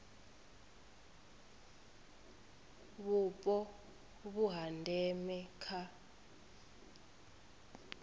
vhupo vhu ha ndeme kha